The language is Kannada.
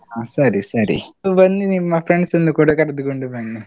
ಹಾ ಸರಿ ಸರಿ. ಬನ್ನಿ ನಿಮ್ಮ friends ಅನ್ನು ಕೂಡ ಕರೆದುಕೊಂಡ್ ಬನ್ನಿ